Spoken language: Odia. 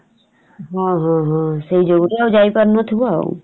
ହଁ ହୁଁ ହୁଁ ସେଇ ଯୋଗୁ ଆଉ ଯାଇ ପାରୁନଥିବ ଆଉ ।